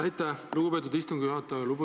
Aitäh, lugupeetud istungi juhataja!